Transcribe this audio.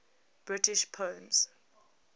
british poems